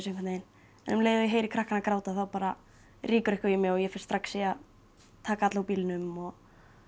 einhvern veginn en um leið og ég heyri krakkana gráta þá bara rýkur eitthvað í mig og ég fer strax í að taka alla úr bílnum og